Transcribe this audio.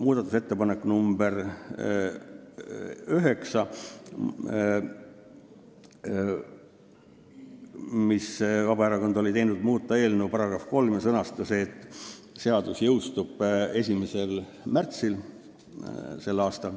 Muudatusettepaneku nr 9 tegi Vabaerakond: muuta eelnõu § 3 ja sõnastada see nii, et seadus jõustub 1. märtsil s.